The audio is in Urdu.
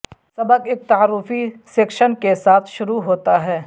سبق ایک تعارفی سیکشن کے ساتھ شروع ہوتا ہے